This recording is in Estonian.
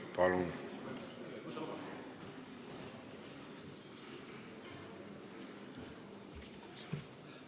Palun!